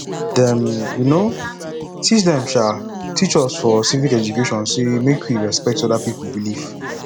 dem um teach dem um teach us for civic education sey make we respect other pipu belief